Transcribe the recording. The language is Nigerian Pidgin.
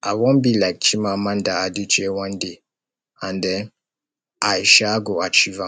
i wan be like chimamanda adichie one day and um i um go achieve am